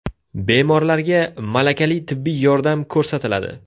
Bemorlarga malakali tibbiy yordam ko‘rsatiladi.